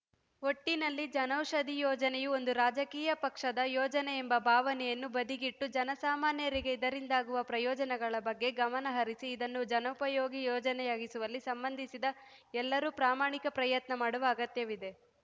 ಒಟ್ಟಿನಲ್ಲಿ ಜನೌಷಧಿ ಯೋಜನೆಯು ಒಂದು ರಾಜಕೀಯ ಪಕ್ಷದ ಯೋಜನೆ ಎಂಬ ಭಾವನೆಯನ್ನು ಬದಿಗಿಟ್ಟು ಜನಸಾಮಾನ್ಯರಿಗೆ ಇದರಿಂದಾಗುವ ಪ್ರಯೋಜನಗಳ ಬಗ್ಗೆ ಗಮನ ಹರಿಸಿ ಇದನ್ನು ಜನೋಪಯೋಗಿ ಯೋಜನೆಯಾಗಿಸುವಲ್ಲಿ ಸಂಬಂಧಿಸಿದ ಎಲ್ಲರೂ ಪ್ರಾಮಾಣಿಕ ಪ್ರಯತ್ನ ಮಾಡುವ ಅಗತ್ಯವಿದೆ